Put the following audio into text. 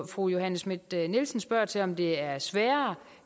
fru johanne schmidt nielsen spørger til om det er sværere